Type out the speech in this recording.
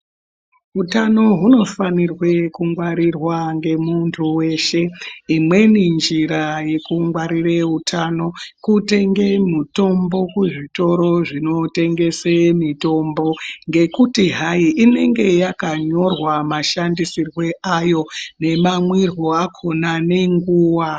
Utano huno fanirwe ku ngwarirwe ngemuntu weshe imweni njira yeku ngwarire utano kutenge mutombo kuzvitoro zvinotengese mitombo ngekuti hai inenge yaka nyorwa mashandisirwo ayo ne mamwiro akona ne nguwa.